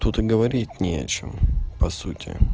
тут и говорить не о чем по сути